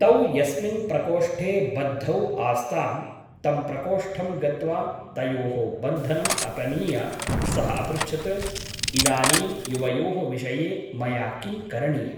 तौ यस्मिन् प्रकोष्ठे बद्धौ आस्तां तं प्रकोष्ठं गत्वा तयोः बन्धनम् अपनीय सः अपृच्छत् इदानीं युवयोः विषये मया किं करणीयम् ?